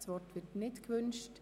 – Das Wort wird nicht gewünscht.